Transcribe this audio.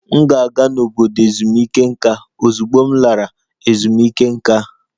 M ga-aga n'obodo ezumike nká ozugbo m lara ezumike nká